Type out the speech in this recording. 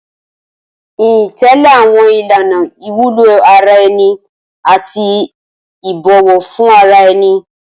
Ìyìn ń tẹ̀lé àwọn ìlànà ìwúlò ara ẹni àti ìbọ̀wọ̀ fún ara ẹni.